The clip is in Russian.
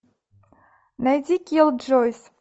найди киллджойс